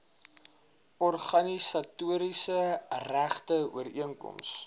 organisatoriese regte ooreenkoms